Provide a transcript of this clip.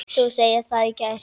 Þú sagðir það í gær.